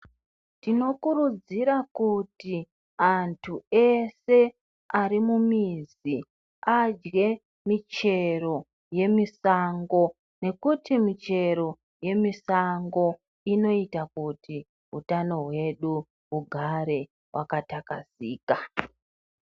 Tinokurudzira kuti antu ese ari mumizi adye michero yemusango nekuti michero yemusango inoita kuti utano hwedu hugare hwakathlakazika.